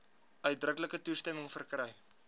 uitdruklike toestemming verkry